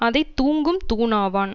அதை தூங்கும் தூண் ஆவான்